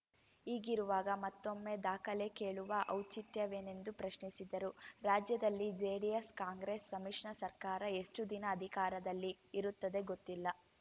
ಹೀಗಿರುವಾಗ ಮತ್ತೊಮ್ಮೆ ದಾಖಲೆ ಕೇಳುವ ಔಚಿತ್ಯವೇನೆಂದು ಪ್ರಶ್ನಿಸಿದರು ರಾಜ್ಯದಲ್ಲಿ ಜೆಡಿಎಸ್‌ ಕಾಂಗ್ರೆಸ್‌ ಸಮ್ಮಿಶ್ರ ಸರ್ಕಾರ ಎಷ್ಟುದಿನ ಅಧಿಕಾರದಲ್ಲಿ ಇರುತ್ತದೆ ಗೊತ್ತಿಲ್ಲ